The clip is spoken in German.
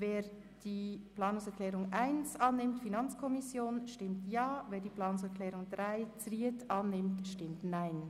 Wer die Planungserklärung 1 annehmen will, stimmt Ja, wer die Planungserklärung 3 annimmt, stimmt Nein.